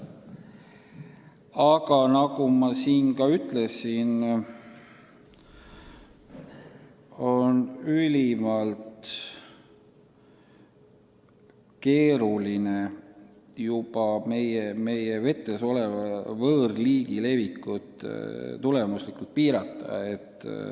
Aga nagu ma juba ütlesin, ülimalt keeruline on meie vetes juba oleva võõrliigi levikut tulemuslikult piirata.